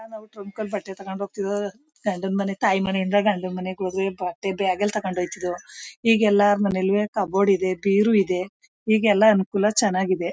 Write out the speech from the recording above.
ಗಂಡ ಮನೆ ತಾಯಿ ಮನೆ ಇಂದ ಗಂಡ ಮನೆ ಬಟ್ಟೆ ಬ್ಯಾಗಲ್ಲಿ ತೊಂಗೊಂದ್ ಹೋಗತಿದು ಈಗ್ ಎಲ್ಲರ ಮನೆಯಲ್ಲಿ ಕಬೋರ್ಡ್ ಇದೆ ಬೇರೋ ಇದೆ ಈಗ ಅನುಕೂಲ ಚೆನ್ನಾಗ್ ಇದೆ.